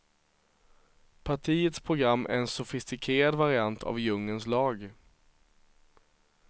Partiets program är en sofistikerad variant av djungelns lag.